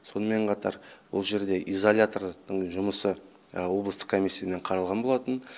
сонымен қатар ол жерде изолятордың жұмысы облыстық комиссиямен қаралған болатын